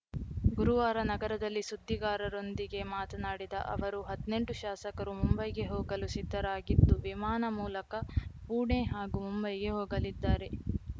ಗುರುವಾರ ನಗರದಲ್ಲಿ ಸುದ್ದಿಗಾರರೊಂದಿಗೆ ಮಾತನಾಡಿದ ಅವರು ಹದ್ನೆಂಟು ಶಾಸಕರು ಮುಂಬೈಗೆ ಹೋಗಲು ಸಿದ್ದರಾಗಿದ್ದು ವಿಮಾನ ಮೂಲಕ ಪುಣೆ ಹಾಗೂ ಮುಂಬೈಗೆ ಹೋಗಲಿದ್ದಾರೆ